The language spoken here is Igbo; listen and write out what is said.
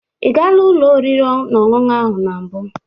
Ị gaala ụlọ oriri na ọṅụṅụ ahụ na mbụ?